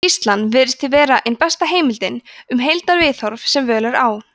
skýrslan virðist því vera einhver besta heimildin um heildarviðhorf sem völ er á